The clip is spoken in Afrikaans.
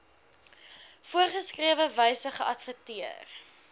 voorgeskrewe wyse geadverteer